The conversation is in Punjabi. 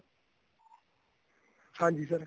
ਹਾਂਜੀ sir